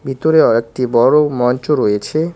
ভিতরেও একটি বড় মঞ্চ রয়েছে।